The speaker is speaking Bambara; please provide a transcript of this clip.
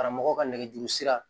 Karamɔgɔ ka nɛgɛjuru sira